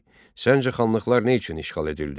Səncə xanlıqlar nə üçün işğal edildi?